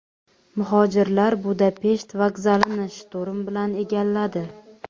Muhojirlar Budapesht vokzalini shturm bilan egalladi.